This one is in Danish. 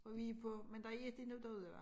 For vi på men der er ikke noget derude hvad